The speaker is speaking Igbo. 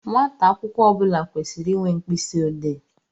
Nwata akwụkwọ ọbula kwesiri ịnwe mkpịsị odee.